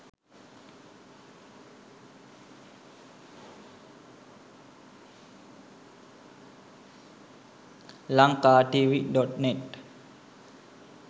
lankatv.net